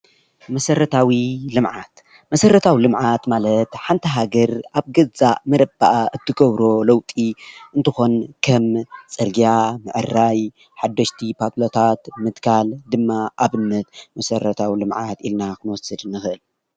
መሰረታዊ ልማዓት :-መሰረታዊ ልምዓት ማለት ሓንቲ ሃገር ኣብ ገዛእ መረበኣ ትገብሮ ለውጥ እንትኾን ከም ፅርግያ ምዕራይ ፣ሓድሽቲ ፓሎታት ምትካል ድማ ኣብነት መሰረታዊ ልማዓት ኢልና ክንወስድ ንኽእል።